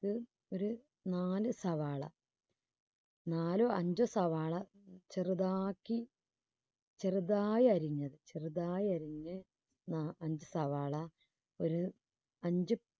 രു~ഒരു നാല് സവാള നാലോ അഞ്ചോ സവാള ചെറുതാക്കി ചെറുതായി അരിഞ്ഞത് ചെറുതായി അരിഞ്ഞ് ആ അഞ്ച് സവാള ഒരു അഞ്ച്